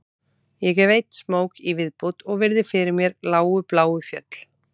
Ég tek einn smók í viðbót og virði fyrir mér lágu bláu fjöll